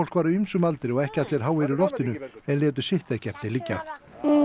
var á ýmsum aldri og ekki allir háir í loftinu en létu sitt ekki eftir liggja